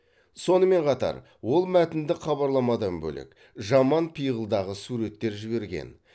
сонымен қатар ол мәтіндік хабарламадан бөлек жаман пиғылдағы суреттер жіберген